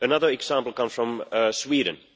Another example come from Sweden.